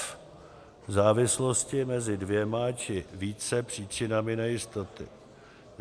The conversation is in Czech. f) závislosti mezi dvěma či více příčinami nejistoty;